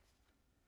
DR1